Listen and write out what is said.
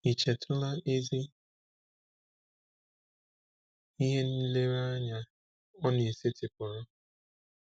Ì chetụla ezi ihe nlereanya ọ na-esetịpụrụ?